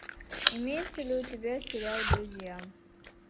имеется ли у тебя сериал друзья